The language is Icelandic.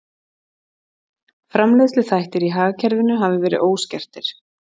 Framleiðsluþættir í hagkerfinu hafi verið óskertir